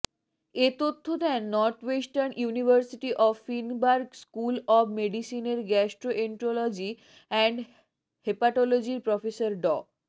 এ তথ্য দেন Northwestern University of Feinberg School of মেডিসিনের গ্যাস্ট্রোএন্টারোলজি অ্যান্ড হেপাটলজির প্রফেসর ড